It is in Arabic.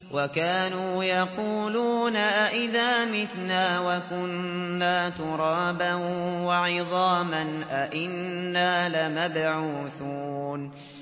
وَكَانُوا يَقُولُونَ أَئِذَا مِتْنَا وَكُنَّا تُرَابًا وَعِظَامًا أَإِنَّا لَمَبْعُوثُونَ